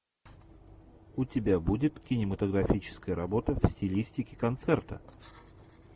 у тебя будет кинематографическая работа в стилистике концерта